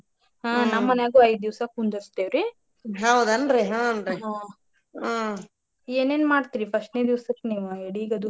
ಹಾ ನಮ ಮನ್ಯಾಗು ಐದ್ ದಿವಸ ಕುಂದರಸ್ತೆವ್ರಿ ಏನೇನ ಮಾಡ್ತೇರಿ first ನೇ ದಿವಸಕ್ಕ ಎಡಿಗದು ನೀವ?